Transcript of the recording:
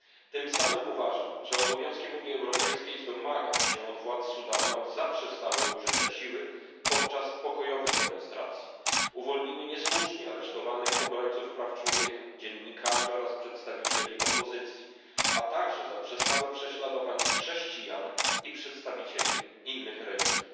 Tym samym uważam, że obowiązkiem Unii Europejskiej jest domagać się od władz Sudanu, aby zaprzestały użycia siły podczas pokojowych demonstracji, uwolniły niesłusznie aresztowanych obrońców praw człowieka, dziennikarzy oraz przedstawicieli opozycji, a także zaprzestały prześladowań chrześcijan i przedstawicieli innych religii.